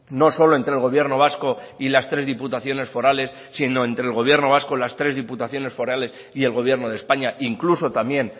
no solo entre el gobierno vasco y las tres diputaciones forales sino entre el gobierno vasco las tres diputaciones forales y el gobierno de españa incluso también